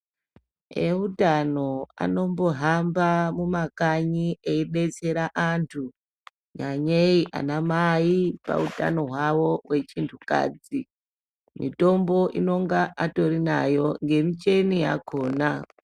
Ehutano anombohamba mumakanyi eyibetsera antu nyanyeyi anamai pahutano hwavo wechintukadzi. Mitombo inonga atori nayo ngemicheni yakhona.